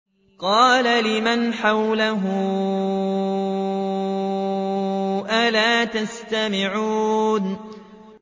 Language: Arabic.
قَالَ لِمَنْ حَوْلَهُ أَلَا تَسْتَمِعُونَ